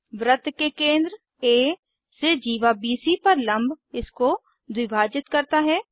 वृत्त के केंद्र आ से जीवा बीसी पर लम्ब इसको द्विभाजित करता है